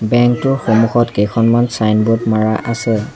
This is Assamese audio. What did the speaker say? বেংক টোৰ সন্মুখত কেখনমান চাইনবোৰ্ড মাৰা আছে।